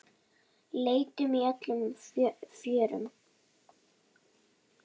Leitum í öllum fjörum.